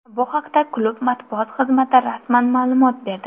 Bu haqda klub matbuot xizmati rasman ma’lumot berdi.